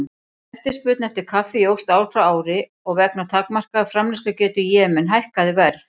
Eftirspurn eftir kaffi jókst ár frá ári og vegna takmarkaðrar framleiðslugetu í Jemen hækkaði verð.